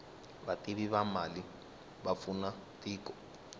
vativi va mali va pfuna tiko